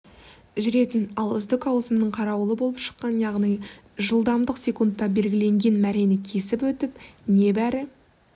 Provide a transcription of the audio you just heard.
жүретін ал үздік ауысымның қарауылы болып шықты яғни жылдамдық секундта белгіленген мәрені кесіп өтіп небәрі